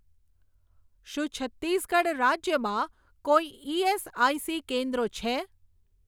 શું છત્તીસગઢ રાજ્યમાં કોઈ ઇએસઆઇસી કેન્દ્રો છે?